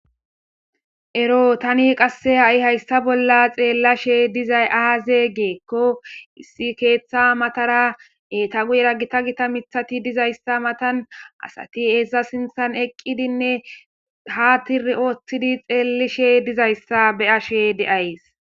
Ero tani qasse ha'i hayssa bolla xeellashe dizay aaze giikko issi keeththa matara eeta guyera gita gita mithati diza issa matan asati eta sinthan eqqidinne ha tishshi ooththidi xeellishe diza issa be'ashe days.